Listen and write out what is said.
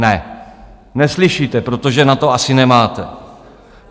Ne, neslyšíte, protože na to asi nemáte.